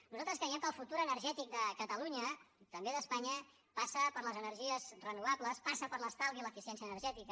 nosaltres creiem que el futur energètic de catalunya i també d’espanya passa per les energies renovables passa per l’estalvi i l’eficiència energètica